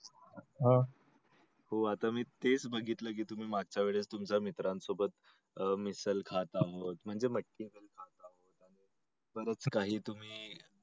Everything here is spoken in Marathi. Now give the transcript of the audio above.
हो आता मी तेच बघितल की तुमच मागच्या वेळेस मित्रांसोबत मिसळ खात आहोत म्हणजे मटकी वगैरे खात आहोत परत काही तुम्ही